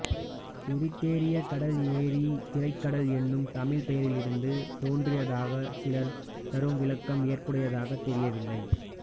எரித்திரேய கடல் எரி திரைக் கடல் என்னும் தமிழ்ப் பெயரிலிருந்து தோன்றியதாகச் சிலர் தரும் விளக்கம் ஏற்புடையதாகத் தெரியவில்லை